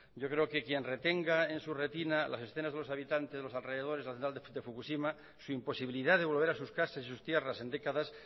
yo creo que quien retenga en su retina las escenas de los habitantes de los alrededores de fukushima su imposibilidad de volver a sus casas y sus tierras en décadas